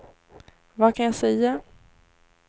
vad kan jag säga